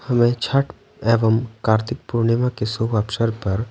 हमें छठ एवं कार्तिक पूर्णिमा के शुभ अवसर पर--